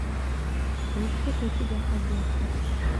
есть ли у тебя одесса